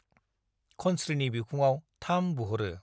खनस्रीनि बिखुङाव थाम बुह'रो ।